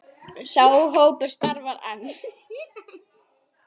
Sá hópur starfar enn.